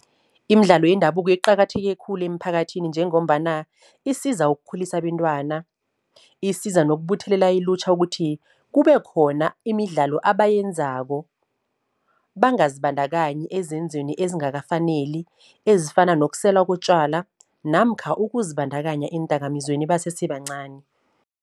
Imidlalo yendabuko iqakatheke khulu emphakathini, njengombana isiza ukukhulisa abentwana, isiza nokubuthelela ilutjha ukuthi kube khona imidlalo abayenzako. Bangazibandakanyi ezenzweni ezingakafaneli ezifana nokusela kotjwala namkha ukuzibandakanya eendakamizweni basesebancani.